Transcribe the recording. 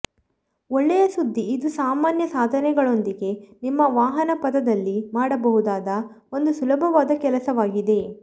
ಒಳ್ಳೆಯ ಸುದ್ದಿ ಇದು ಸಾಮಾನ್ಯ ಸಾಧನಗಳೊಂದಿಗೆ ನಿಮ್ಮ ವಾಹನಪಥದಲ್ಲಿ ಮಾಡಬಹುದಾದ ಒಂದು ಸುಲಭವಾದ ಕೆಲಸವಾಗಿದೆ